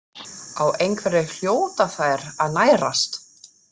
Á einhverju hljóta þær að nærast.